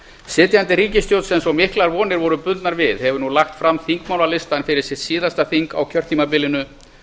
sitjandi ríkisstjórn sem svo miklar vonir voru bundnar við hefur nú lagt fram þingmálalistann fyrir sitt síðasta þing á kjörtímabilinu